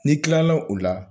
N'i kila la o la.